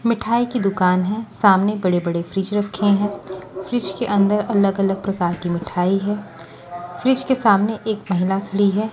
मिठाई की दुकान है सामने बड़े-बड़े फ्रिज रखे हैं फ्रिज के अंदर अलग-अलग प्रकार की मिठाई है फ्रिज के सामने एक महिला सुली है।